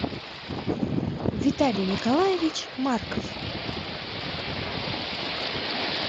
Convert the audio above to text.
виталий николаевич марков